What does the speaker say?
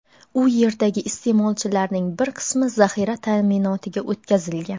u yerdagi iste’molchilarning bir qismi zaxira ta’minotiga o‘tkazilgan.